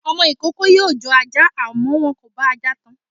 Ọmọ ìkookò yóò jọ ajá, àmọ́ wọn kò bá ajá tan.